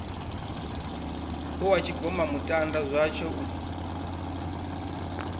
hu ha tshigomamutanda zwatsho u